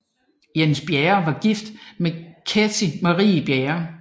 Jens Bjerre var gift med Ketty Marie Bjerre f